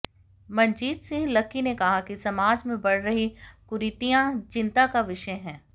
Manjeet Singh Lucky ने कहा कि समाज में बढ़ रही कुरीतियां चिंता का विषय हैं